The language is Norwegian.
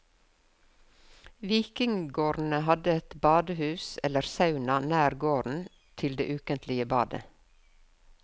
Vikinggårdene hadde et badehus eller sauna nær gården til det ukentlige badet.